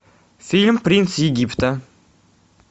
фильм принц египта